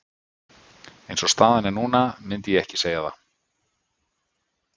Eins og staðan er núna myndi ég ekki segja það.